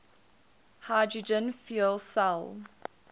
hydrogen fuel cell